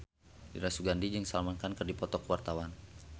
Dira Sugandi jeung Salman Khan keur dipoto ku wartawan